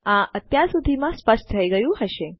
આ અત્યાર સુધીમાં સ્પષ્ટ થઇ ગયું હશે